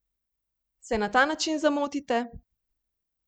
Se na ta način zamotite?